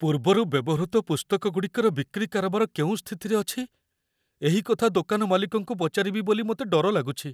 ପୂର୍ବରୁ ବ୍ୟବହୃତ ପୁସ୍ତକଗୁଡ଼ିକର ବିକ୍ରି କାରବାର କେଉଁ ସ୍ଥିତିରେ ଅଛି, ଏହି କଥା ଦୋକାନ ମାଲିକଙ୍କୁ ପଚାରିବି ବୋଲି ମୋତେ ଡର ଲାଗୁଛି।